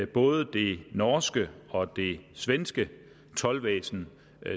både det norske og det svenske toldvæsen